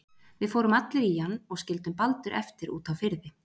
Við fórum allir í hann og skildum Baldur eftir úti á firði.